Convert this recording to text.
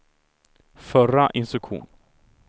förra instruktion